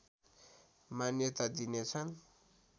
मान्यता दिनेछन्